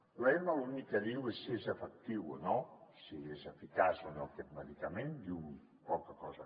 l’ema l’únic que diu és si és efectiu o no si és eficaç o no aquest medicament diu poca cosa